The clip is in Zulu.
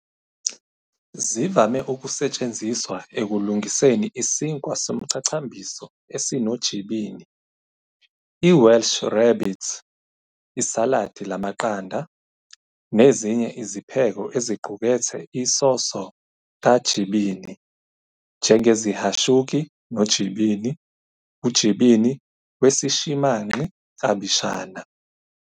Zivame ukusetshenziswa ekulungiseni isinkwa somchachambiso esinoJibini, i- Welsh rarebit, isaladi lamaqanda, nezinye izipheko eziqukethe isoso kaJibini njengeziHashuki noJibini, uJibini wesishimanqi klabishana.